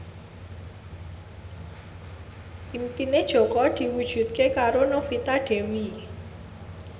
impine Jaka diwujudke karo Novita Dewi